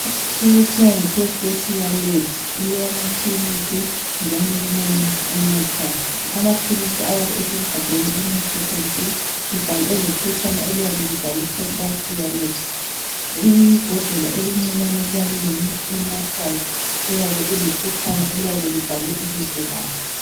Umuthi okuthiwa yiprostasia labs ulamaphilisi njalo kulomuthi onathwayo. Amaphilisi ayabe esegabheni elimhlophe nke elephetshana eliyabe libhalwe prostasia labs. Ibhodlela elincinyane liyabe lilomuthi onathwayo oyabe ulephetshana eliyabe libhalwe ibizo lawo.